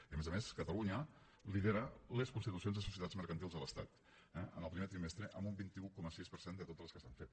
i a més a més catalunya lidera les constitucions de societats mercantils a l’estat eh en el primer trimestre amb un vint un coma sis per cent de totes les que s’han fet